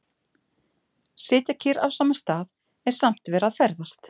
Sitja kyrr á sama stað, en samt að vera að ferðast.